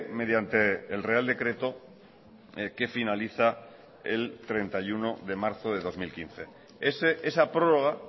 mediante el real decreto que finaliza el treinta y uno de marzo de dos mil quince esa prórroga